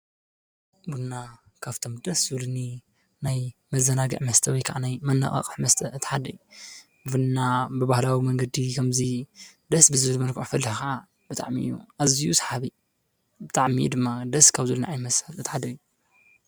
ብና ካብቶም ደስ ዙልኒ ናይ መዘናግዕ መስተ ወይ ከዓናይ መነቓቕሕ ምስተ እተሓደይ ብና ብባህላዊ መንገዲ ኸምዙይ ደስ ብዝብድ መልቋዕፈል ኸዓ ብጥዕሚዩ ኣዝይሰሓቢ ብጥዕሚኡ ድማ ደስ ካብ ዙልኒ ኣይመስት እትሓደይ።